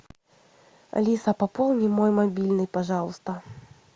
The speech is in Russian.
алиса пополни мой мобильный пожалуйста